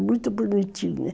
É muito bonitinho, né?